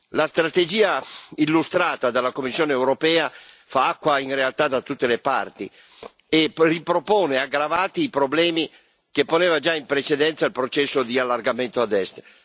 La strategia illustrata dalla Commissione europea fa acqua in realtà da tutte le parti, e ripropone, aggravati, i problemi che poneva già in precedenza il processo di allargamento ad Est.